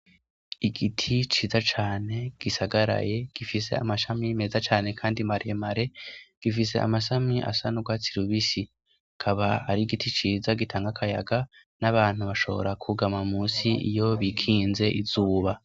Igiti ciza cane gisagaraye gifise amashami meza cane kandi maremare gifise amashami asandwa tsirubisi kaba ari giti ciza gitanga kayaga n'abantu bashobora kugama musi iyo bikinze izuba.